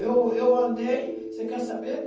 Eu eu andei. Você quer saber?